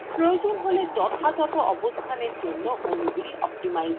প্রয়োজন হলে যথাযথ অবস্থানের জন্য অনুগুলি optimize করুন